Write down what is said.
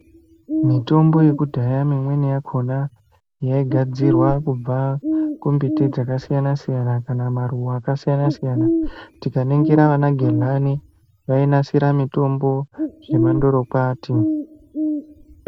Mitombo yekudhaya mimweni yakhona yaigadzirwa kubva kumbiti dzakasiyana-siyana, kana maruva akasiyana-siyana. Tikaningira anagedhlani, vainasira mitombo zvemandorokwati.